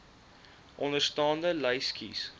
onderstaande lys kies